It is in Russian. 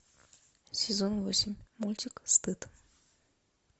сезон восемь мультик стыд